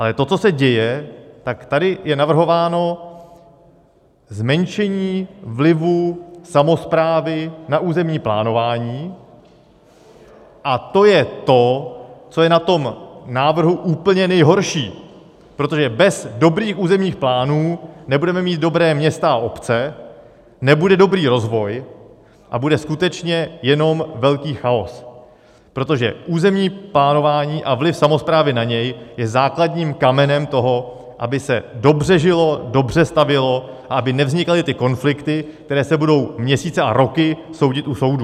Ale to, co se děje, tak tady je navrhováno zmenšení vlivu samosprávy na územní plánování a to je to, co je na tom návrhu úplně nejhorší, protože bez dobrých územních plánů nebudeme mít dobrá města a obce, nebude dobrý rozvoj a bude skutečně jenom velký chaos, protože územní plánování a vliv samosprávy na něj je základním kamenem toho, aby se dobře žilo, dobře stavělo a aby nevznikaly ty konflikty, které se budou měsíce a roky soudit u soudů.